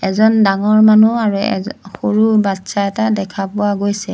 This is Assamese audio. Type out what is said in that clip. এজন ডাঙৰ মানুহ আৰু এজ সৰু বচ্ছা এটা দেখা পোৱা গৈছে।